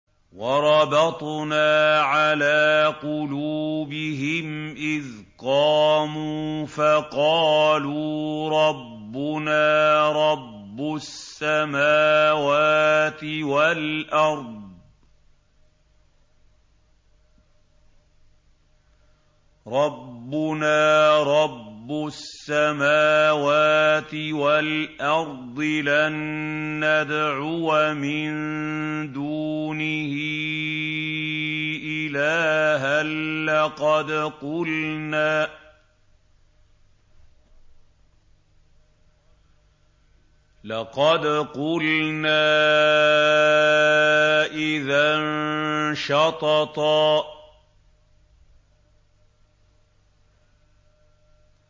وَرَبَطْنَا عَلَىٰ قُلُوبِهِمْ إِذْ قَامُوا فَقَالُوا رَبُّنَا رَبُّ السَّمَاوَاتِ وَالْأَرْضِ لَن نَّدْعُوَ مِن دُونِهِ إِلَٰهًا ۖ لَّقَدْ قُلْنَا إِذًا شَطَطًا